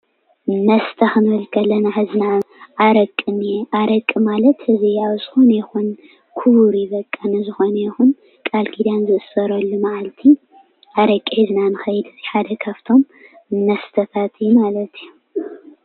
መስተ ክንብል ከለና ኸዚ ንኣብነት ኣረቂ እኒአ። ኣረቂ ማለት እዚ ኣብ ዝኾነ ይኹን ክቡር እዩ በቃ። ንዝኾነ ይኹን ቃል ኪዳን ዝእሰረሉ መዓልቲ ኣረቂ ሒዝና ንኸይድ፣ እዚ ሓደ ካፍቶም መስተታት እዩ ማለት እዩ።